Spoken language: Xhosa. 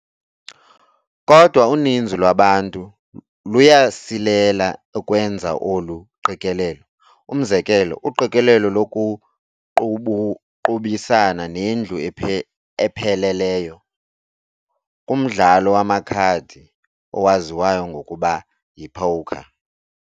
Kodwa uninzi lwabantu luyasilela ukwenza olu qikelelo, umzekelo, uqikelelo lokuqubisana nendlu ephelelyo, kumdlalo wamakhadi owaziwayo ngokuba yi-porker.